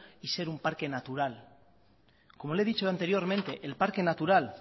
y ser un parque natural como le he dicho anteriormente el parque natural